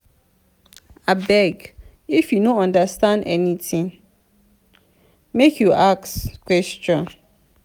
abeg if you no understand anytin make you ask question.